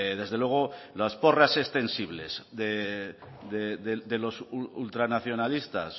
desde luego las porras extensibles de los ultranacionalistas